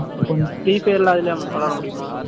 கொஞ்சம் D எல்லாம், அதிலேயே விளையாட முடியுமா?